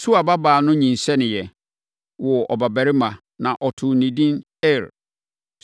Sua babaa no nyinsɛneeɛ, woo ɔbabarima, na wɔtoo no edin Er.